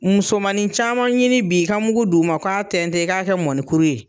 Musomanin caman ɲini bi'i ka mugu d'u ma u k'a tɛntɛn e k'a kɛ mɔnikuru ye